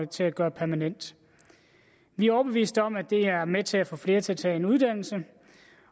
til at gøre permanent vi er overbevist om at det er med til at få flere til at tage en uddannelse